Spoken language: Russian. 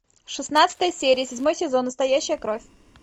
шестнадцатая серия седьмой сезон настоящая кровь